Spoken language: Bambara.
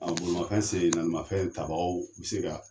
bolimafɛn sen naani mafɛn tabagaw bɛ se ka